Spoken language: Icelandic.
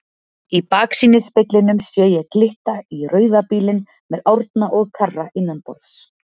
Í baksýnisspeglinum sé ég glitta í rauða bílinn með Árna og Karra innanborðs.